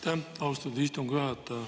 Aitäh, austatud istungi juhataja!